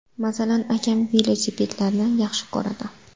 Masalan, akam velosipedlarni yaxshi ko‘radi.